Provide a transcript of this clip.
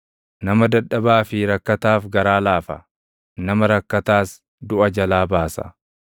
Nama dadhabaa fi rakkataaf garaa lafa; nama rakkataas duʼa jalaa baasa.